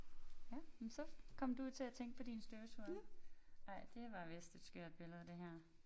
Ja jamen så kom du jo til at tænke på din støvsuger. Ej det var vist et skørt billede det her